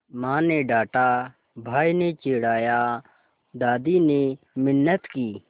माँ ने डाँटा भाई ने चिढ़ाया दादी ने मिन्नत की